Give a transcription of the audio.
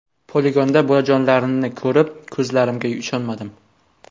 Poligonda bolajonlarimni ko‘rib ko‘zlarimga ishonmadim.